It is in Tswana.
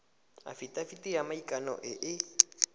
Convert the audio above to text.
afitafiti ya maikano e e